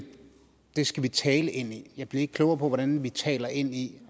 det skal vi taler ind i jeg blev ikke klogere på hvordan vi taler ind i